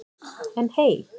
En hey.